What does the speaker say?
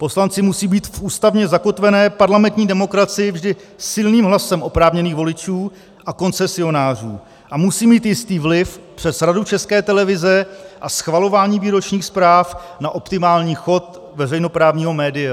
Poslanci musí být v ústavně zakotvené parlamentní demokracii vždy silným hlasem oprávněných voličů a koncesionářů a musí mít jistý vliv přes Radu České televize a schvalování výročních zpráv na optimální chod veřejnoprávního média.